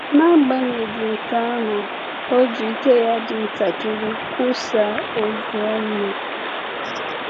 N’agbanyeghị nke ahụ, ọ ji ike ya dị ntakịrị kwusaa ozi ọma.